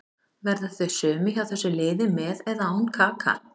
Verða þau sömu hjá þessu liði með eða án Kaka.